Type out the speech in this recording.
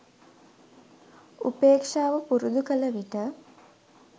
උපේක්ෂාව පුරුදු කළ විට